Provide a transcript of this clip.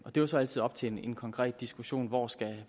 jo så altid op til en konkret diskussion hvor snittet